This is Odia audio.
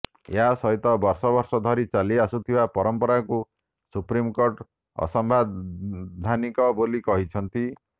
ଏହା ସହିତ ବର୍ଷ ବର୍ଷ ଧରି ଚାଲି ଆସୁଥିବା ପରମ୍ପରାକୁ ସୁପ୍ରିମକୋର୍ଟ ଅସାମ୍ବିଧାନିକ ବୋଲି କହିଛନ୍ତି